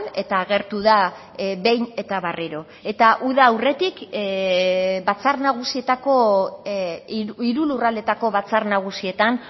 eta agertu da behin eta berriro eta uda aurretik batzar nagusietako hiru lurraldeetako batzar nagusietan